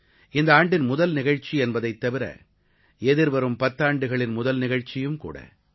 இந்த ஆண்டின் முதல் நிகழ்ச்சி என்பதைத் தவிர எதிர்வரும் பத்தாண்டுகளின் முதல் நிகழ்ச்சியும் கூட